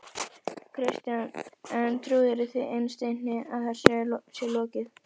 Kristján: En trúirðu því innst inni að þessu sé lokið?